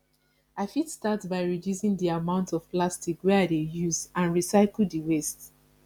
i fit start by reducing di amount of plastic wey i dey use and recycle di waste